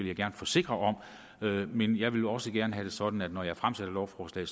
jeg gerne forsikre om men jeg vil også gerne have at sådan at når jeg fremsætter lovforslag